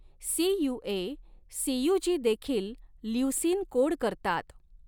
CUA सीय़ूजीदेखील leucine code करतात.